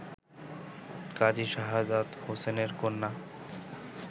কাজী শাহাদাত হোসেনের কন্যা